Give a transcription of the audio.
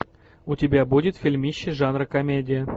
у тебя будет фильмище жанра комедия